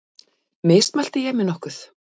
Mismælti ég mig nokkuð?